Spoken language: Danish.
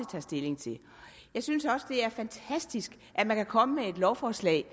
tager stilling til jeg synes også det er fantastisk at man kan komme med et lovforslag